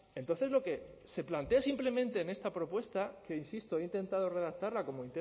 entonces lo que se plantea simplemente en esta propuesta que insisto he intentado redactarla como